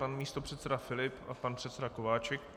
Pan místopředseda Filip a pan předseda Kováčik.